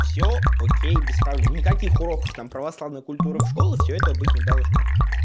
всё окей без проблем никаких уроков там православной культуры в школу всё это быть не должно